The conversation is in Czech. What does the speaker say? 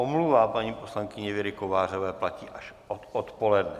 Omluva paní poslankyně Věry Kovářové platí až od odpoledne.